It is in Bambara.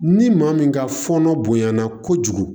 Ni maa min ka fɔnɔ bonyana kojugu